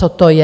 Co to je?